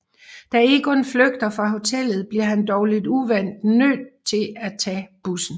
Da Egon flygter fra hotellet bliver han dog lidt uvant nød til at tage bussen